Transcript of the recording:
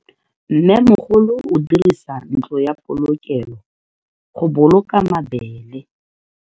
Mmemogolo o dirisa ntlo ya polokelo, go boloka mabele.